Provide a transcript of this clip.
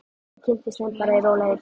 Ég kynnist þeim bara í rólegheitum.